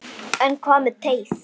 En hvað með teið?